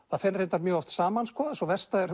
það fer reyndar mjög oft saman sko sú versta er